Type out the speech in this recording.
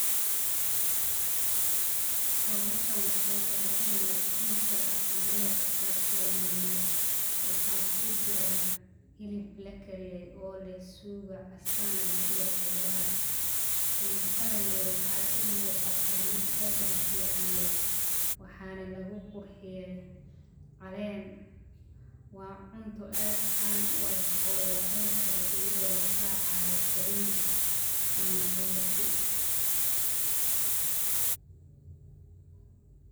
Sawirkan wuxuu mujinaya cunto daqameed oo somaliyeed waxaa kujiraa hilib lakariyey cuntadhan waxee u muqataa mid dadan leh waa cunto aad can u eh iyada oo laracaya roti ama baris.